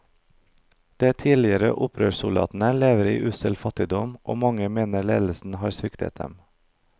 De tidligere opprørssoldatene lever i ussel fattigdom, og mange mener ledelsen har sviktet dem.